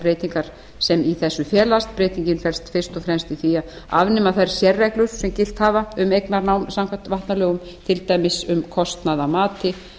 breytingar sem í þessu felast breytingin felst fyrst og fremst í því að afnema þær sérreglur sem gilt hafa um eignarnám samkvæmt vatnalögum til dæmis um kostnað af mati